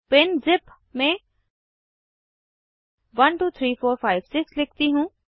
पिनज़िप में 123456 लिखती हूँ